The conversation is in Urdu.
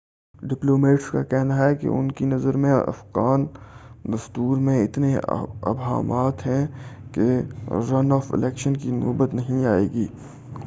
ڈپلومیٹس کا کہنا ہے ان کی نظر میں افغان دستور میں اتنے ابہامات ہیں کہ رن آف الیکشن کی نوبت نہیں آئے گی